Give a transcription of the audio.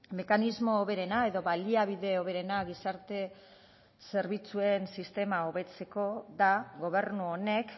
mekanismo hoberena edo baliabide hoberena gizarte zerbitzuen sistema hobetzeko da gobernu honek